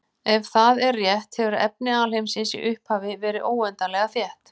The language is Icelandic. Ef það er rétt hefur efni alheimsins í upphafi verið óendanlega þétt.